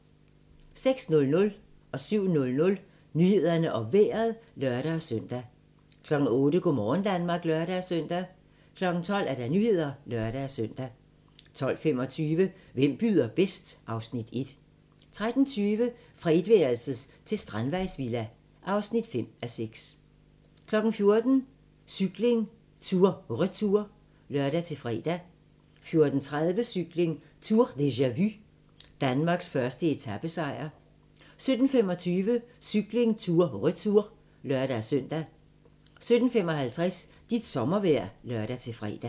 06:00: Nyhederne og Vejret (lør-søn) 07:00: Nyhederne og Vejret (lør-søn) 08:00: Go' morgen Danmark (lør-søn) 12:00: Nyhederne (lør-søn) 12:25: Hvem byder bedst? (Afs. 1) 13:20: Fra etværelses til strandvejsvilla (5:6) 14:00: Cykling: Tour Retour (lør-fre) 14:30: Cykling: Tour deja-vu - Danmarks første etapesejr 17:25: Cykling: Tour Retour (lør-søn) 17:55: Dit sommervejr (lør-fre)